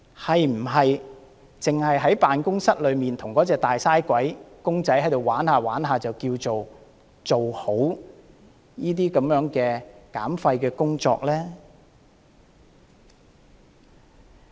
是否只在辦公室內與那個"大嘥鬼"公仔玩耍，便等於做好減廢工作呢？